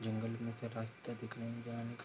जंगल में से रास्ते दिख रहे हें जाने --